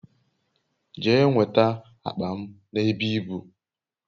Jee nweta akpa m n'ebe ibu